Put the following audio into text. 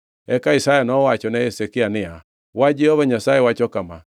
Eka Isaya nowachone Hezekia niya, “Wach Jehova Nyasaye wacho kama: